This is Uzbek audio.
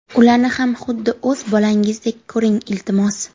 Ularni ham xuddi o‘z bolangizdek ko‘ring, iltimos!